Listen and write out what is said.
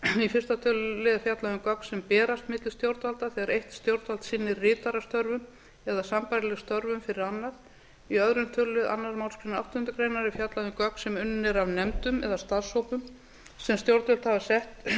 í fyrsta tölulið er fjallað um gögn sem berast milli stjórnvalda þegar eitt stjórnvald sinnir ritarastörfum eða sambærilegum störfum fyrir annað í öðrum tölulið annarri málsgrein áttundu grein er fjallað um gögn sem unnin eru af nefndum eða starfshópum sem stjórnvöld hafa sett á fót